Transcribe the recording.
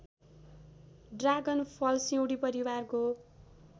ड्रागनफल सिउँडी परिवारको